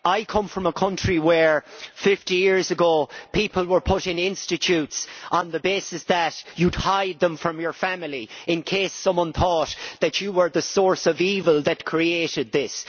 I come from a country where 50 years ago people were put in institutes on the basis that you would hide them from your family in case someone thought that you were the source of evil that created this.